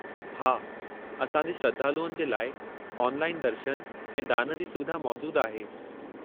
हा, असां जे श्रद्धालुअनि जे लाइ ऑनलाइन दर्शन ऐं दान जी सुविधा मौजूदु आहे।